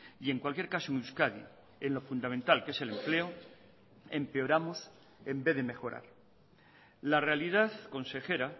y en cualquier caso en euskadi en lo fundamental que es el empleo empeoramos en vez de mejorar la realidad consejera